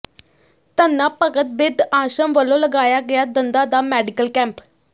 ਧੰਨਾ ਭਗਤ ਬਿਰਧ ਆਸ਼ਰਮ ਵੱਲੋਂ ਲਗਾਇਆ ਗਿਆ ਦੰਦਾਂ ਦਾ ਮੈਡੀਕਲ ਕੈਂਪ